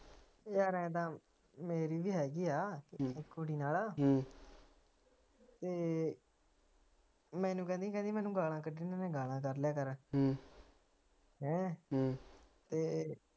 ਯਾਰ ਐ ਤਾਂ ਮੇਰੀ ਵੀ ਹੇਗੀ ਆ ਕੁੜੀ ਨਾਲ ਤੇ ਮੈਨੂੰ ਕਹਿੰਦੀ ਮੈਨੂੰ ਗਾਲਾਂ ਕੱਢਨੀਆ ਤੇ ਗਾਲ੍ਹਾਂ ਕੱਢ ਲਿਆ ਕਰ ਤੇ